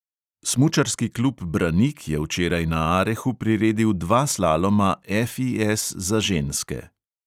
Smučarski klub branik je včeraj na arehu priredil dva slaloma FIS za ženske.